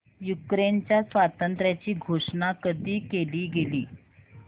युक्रेनच्या स्वातंत्र्याची घोषणा कधी केली गेली